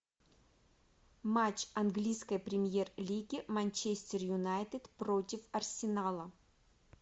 матч английской премьер лиги манчестер юнайтед против арсенала